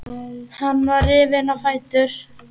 Hann var rifinn á fætur.